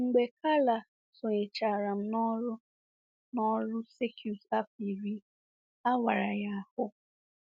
Mgbe Karla sonyechara m n'ọrụ n'ọrụ circuit afọ iri, a wara ya ahụ́.